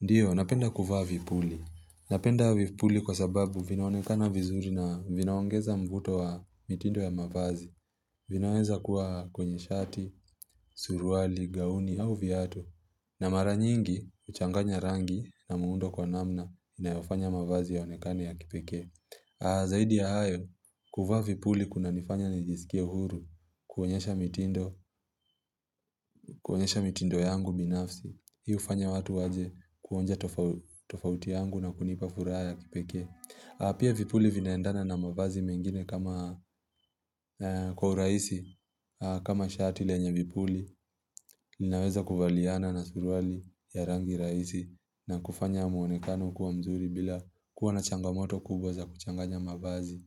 Ndiyo, napenda kuvaa vipuli. Napenda vipuli kwa sababu vinaonekana vizuri na vinaongeza mvuto wa mitindo ya mavazi. Vinaweza kuwa kwenye shati, suruali, gauni au viatu. Na mara nyingi, uchanganya rangi na muundo kwa namna, inayofanya mavazi yaonekane ya kipekee. Zaidi ya hayo, kuvaa vipuli kuna nifanya nijisikia uhuru, kuonyesha mitindo, kuonyesha mitindo yangu binafsi. Hiufanya watu waje kuonja tofauti yangu na kunipa furaha ya kipeke Pia vipuli vinaendana na mavazi mengine kama kwa urahisi kama shati lenye vipuli linaweza kuvaliana na suruali ya rangi raisi na kufanya muonekano kuwa mzuri bila kuwa na changamoto kubwa za kuchanganya mavazi.